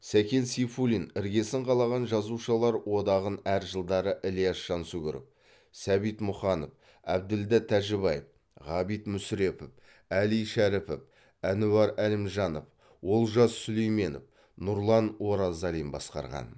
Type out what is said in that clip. сәкен сейфуллин іргесін қалаған жазушылар одағын әр жылдары ілияс жансүгіров сәбит мұқанов әбділда тәжібаев ғабит мүсірепов әли шәріпов әнуар әлімжанов олжас сүлейменов нұрлан оразалин басқарған